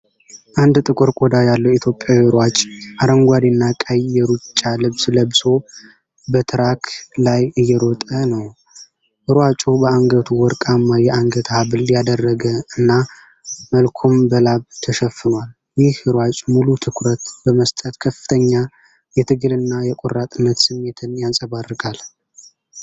አንድ ጥቁር ቆዳ ያለው ኢትዮጵያዊ ሯጭ አረንጓዴና ቀይ የሩጫ ልብስ ለብሶ በትራክ ላይ እየሮጠ ነው። ሯጩ በአንገቱ ወርቅማ የአንገት ሐብል ያደረገ እና፤ መልኩም በላብ ተሸፍኗል። ይህ ሯጭ ሙሉ ትኩረት በመስጠት ከፍተኛ የትግልና የቆራጥነት ስሜትን ያንፀባርቃል።